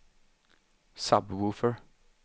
sub-woofer